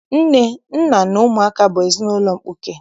Nne, nna na ụmụaka bụ ezinaụlọ mkpuke